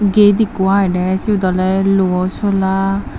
gate ekko agede siyot olyde luo sola.